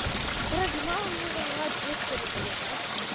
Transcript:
короче мама мне дала двести рублей да